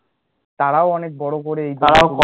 তারাও অনেক বড় করে এই